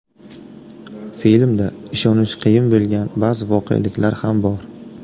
Filmda ishonish qiyin bo‘lgan ba’zi voqeliklar ham bor.